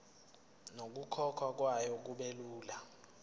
nokukhokhwa kwayo kubelula